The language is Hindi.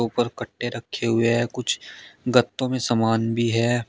और कट्टे रखे हुए हैं कुछ गत्तों में सामान भी है।